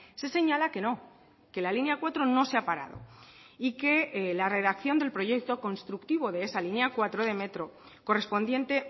se señala que no que la línea cuatro no se ha parado y que la redacción del proyecto constructivo de esa línea cuatro de metro correspondiente